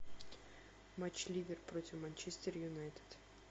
матч ливер против манчестер юнайтед